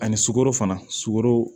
Ani sukaro fana sukaro